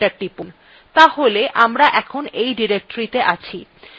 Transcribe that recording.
তাহলে আমরা এখন এই directoryত়ে আছি